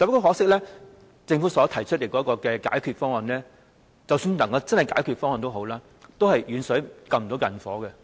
可惜，政府所提出的解決方案，即使能夠解決問題，都只是"遠水不能救近火"。